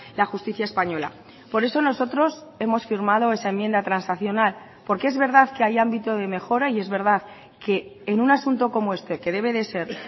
la justicia española por eso nosotros hemos firmado esa enmienda transaccional porque es verdad que hay ámbito de mejora y es verdad que en un asunto como este que debe de ser